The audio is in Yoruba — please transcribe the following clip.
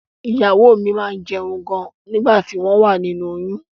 Ìyàwó mi máá ń jẹun gan ni nígbà tí wọ́n wà nínú oyún